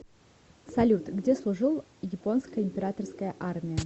салют где служил японская императорская армия